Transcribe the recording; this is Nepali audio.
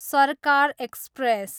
सर्कार एक्सप्रेस